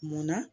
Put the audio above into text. Munna